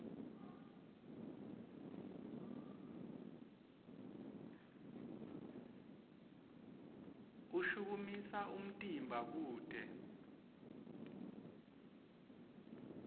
ushukumisa umtimba kute